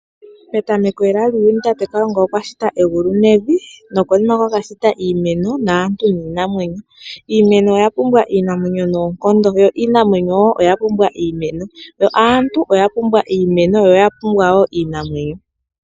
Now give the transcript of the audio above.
Petameko lela tate kalunga okwa shita egulu nevi, nokonima yomasiku okwa ka shita iimeno, aantu niinamwenyo. Iimeno oya pumbwa iinamwenyo noonkondo yo iinamwenyo oya pumbwa iimeno. Yo aantu oyapumbwa iimeno niinamwenyo.